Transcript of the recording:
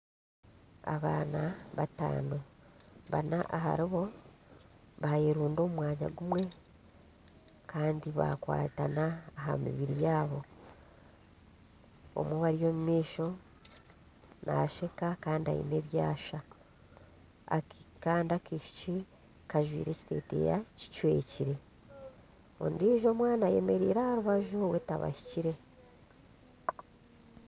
Abaana bataano, bana aharibo bayerunda omu mwanya gumwe kandi bakwatana aha mibiri yaabo omwe ori omu maisho naasheka Kandi aine ebyasha Kandi akaishiki kajwaire ekiteteya kicwekire ondiijo omwana ayemereire aha rubaju we tabahikireho